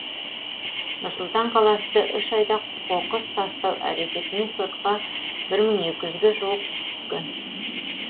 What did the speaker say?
нұр сұлтан қаласында үш айда қоқыс тастау әрекетімен сотқа бір мың екі жүзге жуық іс түскен